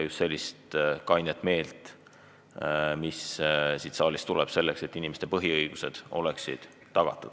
Siin saalis võiksime ilmutada just sellist kainet meelt, et inimeste põhiõigused oleksid tagatud.